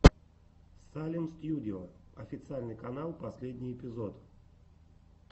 салем стьюдио официальный канал последний эпизод